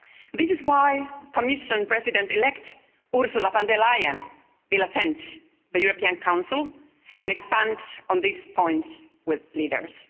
This is why Commission President-elect Ursula von der Leyen will attend the European Council and expand on this point with leaders.